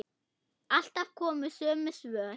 Alltaf komu sömu svör.